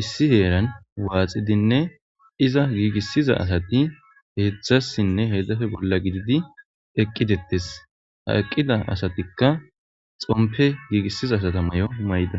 issi heeran waxxidinne iiza giigissiza asati heezhzhasinne heezhzhappe bolla giididi eqqidettes ha eqqida assati xoomppe giigisiza asata maayo mayidda.